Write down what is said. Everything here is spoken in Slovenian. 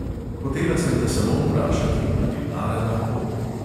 Hotela sem te samo vprašati, ali lara lahko ...